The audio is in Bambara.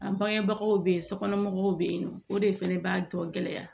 An bangebagaw bɛ yen sokɔnɔmɔgɔw bɛ yen nɔ o de fana b'a tɔ gɛlɛya